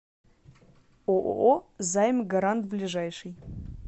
ооо займ гарант ближайший